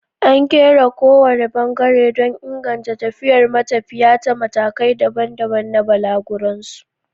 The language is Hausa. An kera kowane bangare don inganta tafiyar matafiya ta matakai daban-daban na balaguronsu.